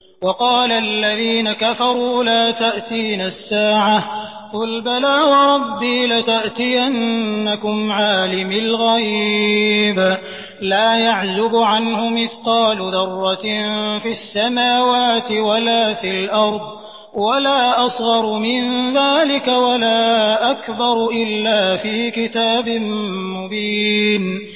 وَقَالَ الَّذِينَ كَفَرُوا لَا تَأْتِينَا السَّاعَةُ ۖ قُلْ بَلَىٰ وَرَبِّي لَتَأْتِيَنَّكُمْ عَالِمِ الْغَيْبِ ۖ لَا يَعْزُبُ عَنْهُ مِثْقَالُ ذَرَّةٍ فِي السَّمَاوَاتِ وَلَا فِي الْأَرْضِ وَلَا أَصْغَرُ مِن ذَٰلِكَ وَلَا أَكْبَرُ إِلَّا فِي كِتَابٍ مُّبِينٍ